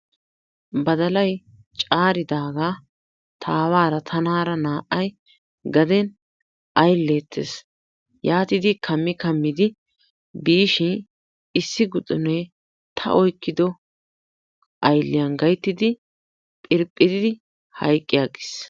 Badalay caaridaagaa ta aawaara tanaara naa"ayi gaden aylleettes. Yaatidi kammi kammidi biishin issi guxunee ta oyqqido aylliyan gayttidi phiriphiridi hayqqi aggis.